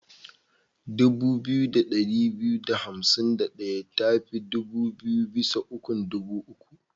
Dubu biyu da ɗari biyu da hansim da ɗaya tabi biyu bisa ukun dubu uku.